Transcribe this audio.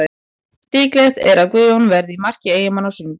Líklegt er að Guðjón verði í marki Eyjamanna á sunnudag.